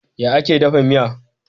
Ya ake dafa miya?